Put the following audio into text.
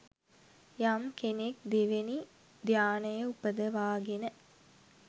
යම් කෙනෙක් දෙවෙනි ධ්‍යානය උපදවාගෙන